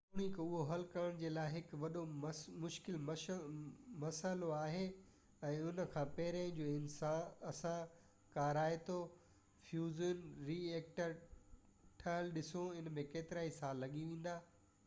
جيتوڻڪ اهو حل ڪرڻ جي لاءِ هڪ وڏو مشڪل مسئلو آهي ۽ ان کان پهرين جو اسان ڪارائتو فيوزن ري ايڪٽر ٺهيل ڏسو ان ۾ ڪيترائي سال لڳي ويندا